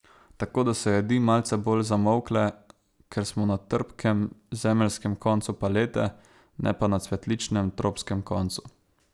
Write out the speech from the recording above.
Tako da so jedi malce bolj zamolkle, ker smo na trpkem, zemeljskem koncu palete, ne pa na cvetličnem, tropskem koncu.